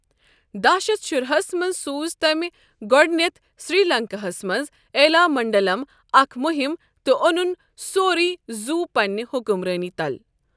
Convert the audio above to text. دَہ شیتھ شراہَس منٛز سوٗز تمہِ گۄڈٕنٮ۪تھ سری لنکاہس منٛز ایلا منڈلم اكھ مٗہم تہٕ اونٗن سورٕے زوٗ پنٛنہِ حکمرٲنی تل ۔